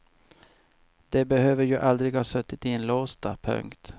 De behöver ju aldrig ha suttit inlåsta. punkt